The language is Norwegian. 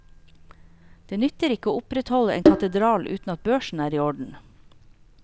Det nytter ikke å opprettholde en katedral uten at børsen er i orden.